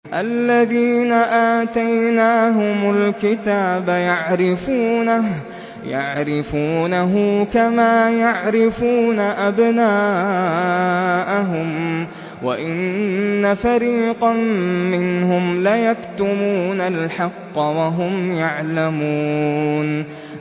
الَّذِينَ آتَيْنَاهُمُ الْكِتَابَ يَعْرِفُونَهُ كَمَا يَعْرِفُونَ أَبْنَاءَهُمْ ۖ وَإِنَّ فَرِيقًا مِّنْهُمْ لَيَكْتُمُونَ الْحَقَّ وَهُمْ يَعْلَمُونَ